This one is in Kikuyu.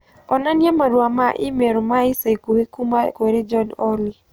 onania marũa ma i-mīrū ma ica ikuhĩ kuuma kũrĩ John Olly